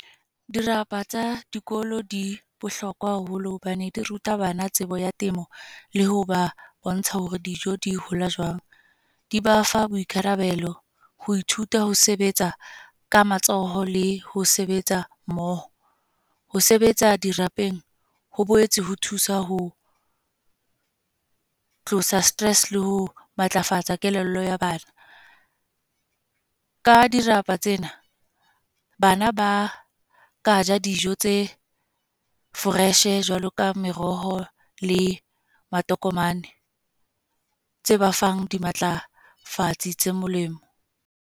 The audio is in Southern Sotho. Dirapa tsa dikolo, di bohlokwa haholo. hobane di ruta bana tsebo ya temo. Le ho ba bontsha hore dijo di hola jwang. Di ba fa boikarabelo, ho ithuta ho sebetsa ka matsoho, le ho sebetsa mmoho. Ho sebetsa dirapeng ho boetse ho thusa ho tlosa stress le ho matlafatsa kelello ya bana. Ka dirapa tsena, bana ba ka ja dijo tse fresh, jwalo ka meroho le matokomane. Tse ba fang di matlafatse tse molemo.